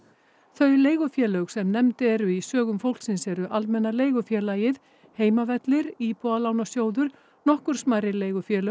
þau leigufélög sem nefnd eru í sögum fólksins eru Almenna leigufélagið Heimavellir Íbúðalánasjóður nokkur smærri leigufélög